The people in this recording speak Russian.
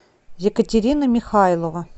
екатерина михайлова